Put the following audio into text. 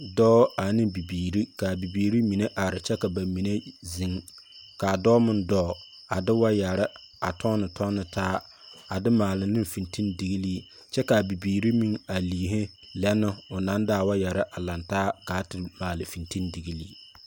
Dɔɔ ane bibiiri ka a bibiiri mine are kyɛ ka ba mine zeŋ, ka a dɔɔ meŋ dɔɔ, a de waayare, a tɔnne tɔnne taa, a de maale ne fentendigilii, kyɛ ka a bibiiri meŋ are a liihe lɛ nɛɛ o naŋ de a waayare a lantaa kaa te maale a fentendigilii.